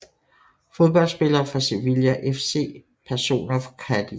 Fodboldspillere fra Sevilla FC Personer fra Cádiz